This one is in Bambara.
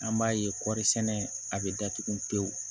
An b'a ye kɔri sɛnɛ a bɛ datugu pewu